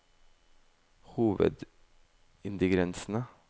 hovedingrediensene